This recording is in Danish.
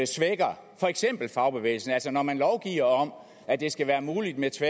svækker for eksempel fagbevægelsen altså når man lovgiver om at det skal være muligt med